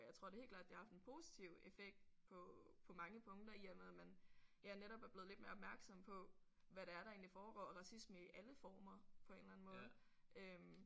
Jeg tror det helt klart det har haft en positiv effekt på på mange punkter i og med at man ja netop er blevet lidt mere opmærksom på hvad det er der egentlig foregår og racisme i alle former på en eller anden måde øh